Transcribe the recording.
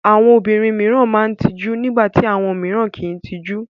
Àwọn obìnrin mìíràn máa ń tijú nígbà tí àwọn mìíràn kì í tijú.